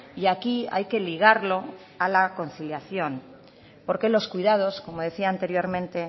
y aquí hay que ligarlo a la conciliación porque los cuidados como decía anteriormente